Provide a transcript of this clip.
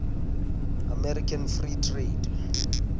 american free trade